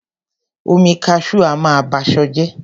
Omi Cashew a máa ba ṣọ jẹ́.